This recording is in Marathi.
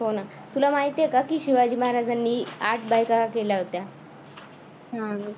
हो ना तुला माहिती आहे का तुला माहितीये का शिवाजी महाराजांनी आठ बायका केल्या होत्या.